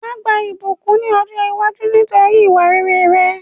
Wàá gba ìbùkún ni ọ̀jọ́ iwájú nítorí ìwà rere rẹ